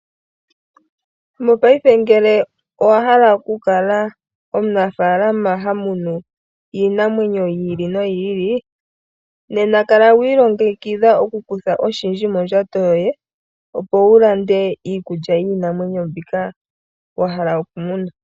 Mopaife ngele owa hala oku kala omunafaalama ha munu iinamwenyo yi ili noyi ili, nena kala wi ilngekidha oku kutha oshindji mondjato yoye, opo wulande iikulya yiinamwenyo mbyoka wa hala okumuna.